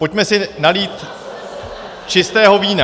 Pojďme si nalít čistého vína.